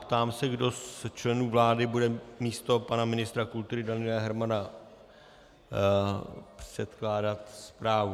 Ptám se, kdo z členů vlády bude místo pana ministra kultury Daniela Hermana předkládat zprávu.